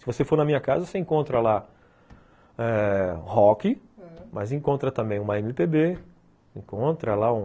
Se você for na minha casa, você encontra lá rock eh, ãh, mas encontra também uma eme pê bê, encontra lá um...